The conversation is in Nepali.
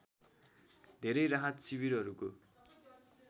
धेरै राहत शिविरहरूको